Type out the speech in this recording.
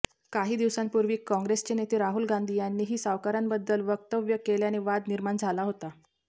काही दिवसांपूर्वी काँग्रेसचे नेते राहुल गांधी यांनीही सावरकरांबद्दल वक्तव्य केल्याने वाद निर्माण झाला होता